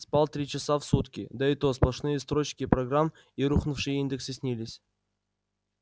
спал три часа в сутки да и то сплошные строчки программ и рухнувшие индексы снились